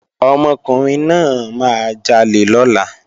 Ọmọkùnrin náà máa jalè lọ́la